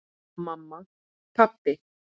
Mamma. pabbi.